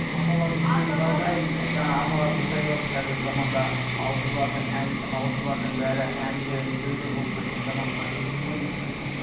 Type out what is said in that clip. апаларымның сөзін жалғайын і жаңа апалар дұрыс айтып отыр қазіргі заманда ауызы бардың ауызы бардың бәрі әнші дүлділ болып кеткен заманға жеттік қой негізі